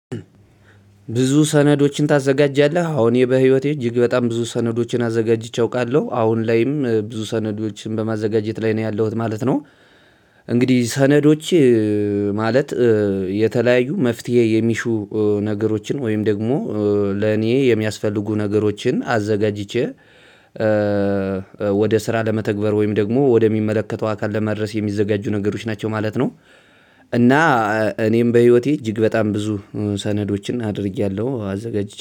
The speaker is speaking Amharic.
ብዙ ሰነዶችን ታዘጋጃለህ? አዎ በህይወቴ እጅግ በጣም ብዙ ሰነዶችን አዘጋጅቼ አውቃለሁ አሁን ላይም ብዙ ሰነዶችን በማዘጋጀት ላይ ነው ያለሁት ማለት ነው። እንግዲህ ሰነዶች ማለት የተለያዩ መፍትሄ የሚሹ ነገሮችን ወይም ደግሞ ለእኔ የሚያስፈልጉ ነገሮችን አዘጋጅቼ ወደ ስራ ለመተግበር ወይም ደግሞ ወደሚመለከተው አካል ለመድረስ የሚዘጋጁ ነገሮች ናቸው ማለት ነው። እና እኔም በህይወቴ እጅግ በጣም ብዙ ሰነዶችን አድርጌያለሁ አዘጋጅቼ